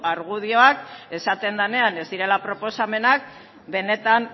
argudioak esaten denean ez direla proposamenak benetan